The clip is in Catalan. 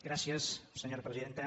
gràcies senyora presidenta